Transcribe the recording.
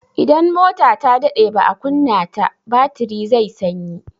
Idan mota ta daɗe baa kunna ta, batiri zai sanyi.